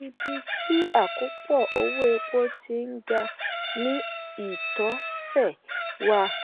ibi tí àkópọ̀ owó epo ti ń ga ni ìtọsẹ̀ wà.